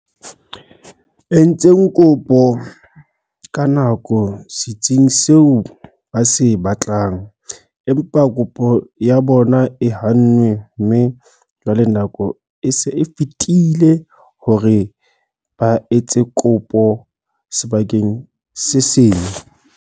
Entseng kopo ka nako setsing seo ba se batlang, empa kopo ya bona e hannwe mme jwale nako e se e fetile hore ba etse kopo sebakeng se seng.